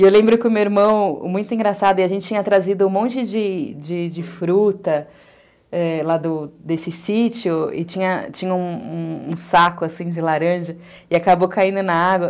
E eu lembro que o meu irmão, muito engraçado, e a gente tinha trazido um monte de de de fruta lá desse sítio, e tinha tinha um saco, assim, de laranja, e acabou caindo na água.